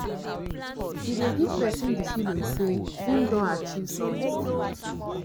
e dey give person di feeling sey im don sey im don achive something